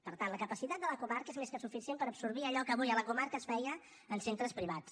per tant la capacitat de la comarca és més que suficient per absorbir allò que avui a la comarca es feia en centres privats